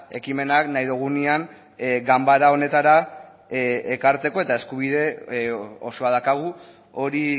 ekimenak nahi dugunean ganbara honetara ekartzeko eta eskubide osoa daukagu hori